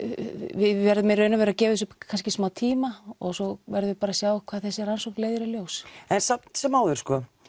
við verðum í raun og veru að gefa þessu smá tíma og svo verðum við bara að sjá hvað þessi rannsókn leiðir í ljós en samt sem áður